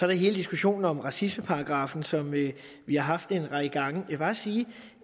der hele diskussionen om racismeparagraffen som vi har haft en række gange vil bare sige